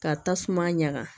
Ka tasuma ɲaga